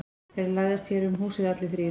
Þeir læðast hér um húsið allir þrír.